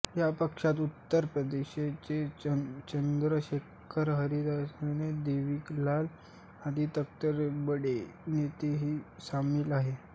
या पक्षात उत्तर प्रदेशचे चंद्रशेखर हरियाणाचे देवीलाल आदी तत्कालीन बडे नेतेही सामील झाले